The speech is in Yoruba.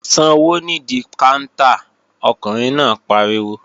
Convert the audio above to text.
Sanwó nídí káńtà! Ọkùnrin náà pariwo